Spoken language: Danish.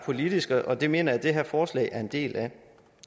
politisk og det mener jeg at det her forslag er en del af